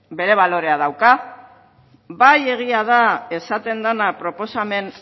bere balorea dauka bai egia da esaten dena proposamen